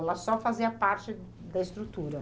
Ela só fazia parte da estrutura?